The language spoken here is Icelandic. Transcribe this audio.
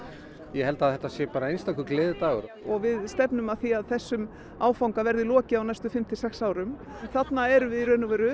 ég held að þetta sé bara einstakur gleðidagur við stefnum að því að þessum áfanga verði lokið á næstu fimm til sex árum þarna erum við